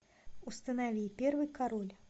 установи первый король